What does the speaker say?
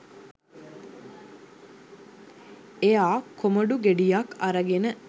එයා කොමඩු ගෙඩියක් අරගෙන